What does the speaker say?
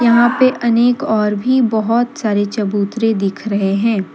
यहां पे अनेक और भी बहोत सारे चबूतरे दिख रहे हैं।